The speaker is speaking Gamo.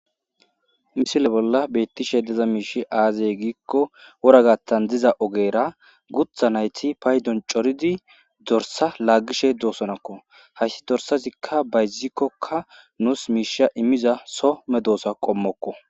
misile bolla beettishe deza miishi aazay giikko woragattan diza ogeera gutha nayti paydon coridi dorsa laaggishe doosonakko hayssi dorsazikka bayzikkokka nuus miisha immiza some doosa qommokko